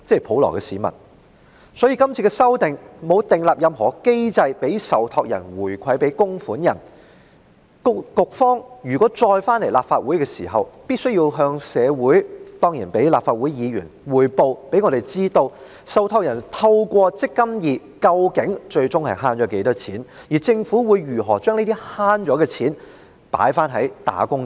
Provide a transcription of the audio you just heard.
《條例草案》沒有訂立任何機制讓受託人回饋供款人，因此局方如再次來到立法會，便必須向社會及議員匯報，讓大家知道受託人透過"積金易"最終究竟能節省多少金錢，以及政府會如何將節省所得的金錢回饋"打工仔"。